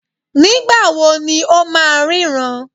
Nígbà wo ni ó máa ríran?